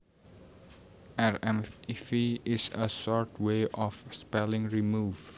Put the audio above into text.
Rmv is a short way of spelling remove